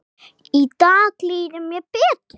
Í dag líður mér betur.